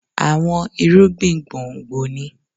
Àwọn irúgbìn gbòǹgbò ni